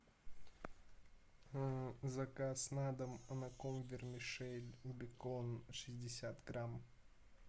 заказ на дом анаком вермишель бекон шестьдесят грамм